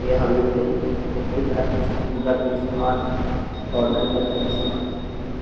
यहाँ मिलते हैं। कई तरह जिसमे पूजा के समान हो और घर में रखने के सामान होते हैं बोहोत --